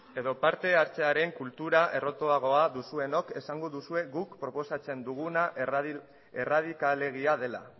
edo parte hartzearen kultura errotuagoa duzuenok esango duzue guk proposatzen duguna erradikalegia dela